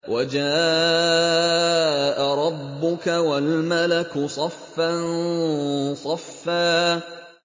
وَجَاءَ رَبُّكَ وَالْمَلَكُ صَفًّا صَفًّا